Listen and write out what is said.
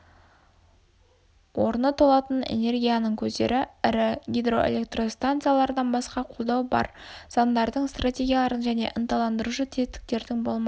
орны толатын энергияның көздері ірі гидроэлектростанциялардан басқа қолдау болар заңдардың стратегиялардың және ынталандырушы тетіктердің болмауы